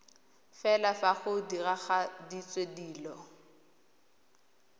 fela fa go diragaditswe dilo